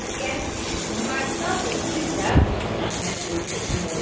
Qərib kişi Sumqayıtda, dostu isə Bakıda məcburi köçkün olur.